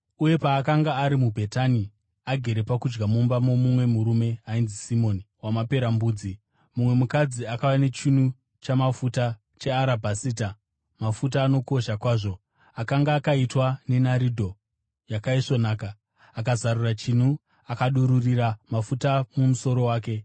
Uye paakanga ari muBhetani, agere pakudya mumba momumwe murume ainzi Simoni waMaperembudzi, mumwe mukadzi akauya nechinu chamafuta chearabhasita, mafuta anokosha kwazvo, akanga akaitwa nenaridhi yakaisvonaka. Akazarura chinu akadururira mafuta mumusoro wake.